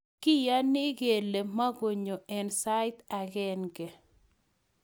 kiyani kele mukunyo eng' sait agenge